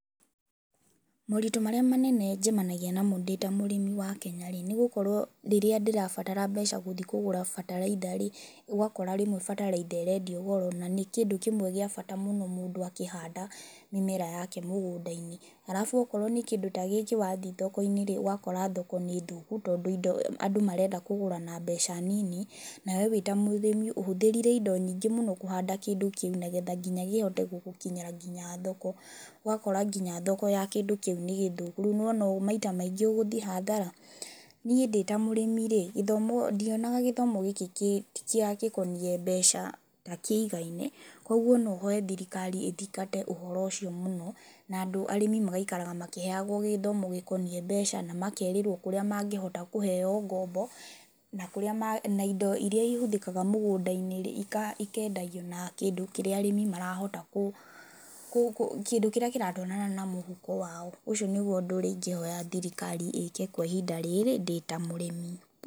Moritũ marĩa manene njemanagia namo ndĩ ta mũrĩmi wa Kenya-rĩ, nĩgũkora rĩrĩa ndĩrabatara mbeca gũthiĩ kũgũra bataraitha-rĩ, ũgakora rĩmwe bataraitha ĩrendio goro na nĩ kĩndũ kĩmwe gĩa bata mũno mũndũ akĩhanda mĩmera yake mũgũnda-inĩ Alafu okorwo nĩ kĩndũ ta gĩkĩ wathiĩ thoko-inĩ rĩ, ũgakora thoko nĩ thũku tondũ indo andũ marenda kũgũra na mbeca nini na we wĩ ta mũrĩmi ũhũthĩrire ĩndo nyingĩ mũno kũhanda kĩndũ kĩu nĩgetha nginya kĩhote gũgũkinyĩra nginya thoko, ũgakora nginya thoko ya kĩndũ kĩu nĩ gĩthũku, rĩu nĩwona ũ maita maingĩ ũgũthiĩ hathara. Niĩ ndĩ ta mũrĩmi-rĩ gĩthomo ndionaga gĩthomo gĩkĩ kĩ tikĩa gĩkonie mbeca ta kĩigaine, kwoguo no hoe thirikari ĩthangate ũhoro ũcio mũno, na andũ arĩmi magaikaraga makĩheagwo gĩthomo gĩkonie mbeca na makerĩrwo kũrĩa mangĩhota kũheo ngombo, na kũrĩa ma na ĩndo iria ihũthĩkaga mũgũnda-inĩrĩ ika ikendagio na kĩndũ kĩrĩa arĩmi marahota kũ kũ kũ kĩndũ kĩrĩa kĩratwarana na mũhuko wao. Ũcio nĩguo ũndũ ũrĩa ingĩhoya thirikari ĩke kwa ihinda rĩrĩ ndi ta mũrĩmi.